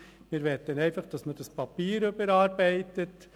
Wir wollen einfach, dass man das Papier des Ratssekretariats überarbeitet.